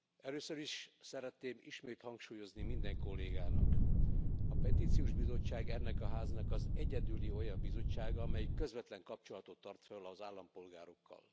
Először is szeretném ismét hangsúlyozni minden kollégának a Petíciós Bizottság ennek a Háznak az egyedüli olyan bizottsága, amely közvetlen kapcsolatot tart föl az állampolgárokkal.